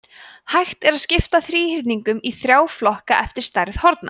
hægt er að skipta þríhyrningum í þrjá flokka eftir stærð horna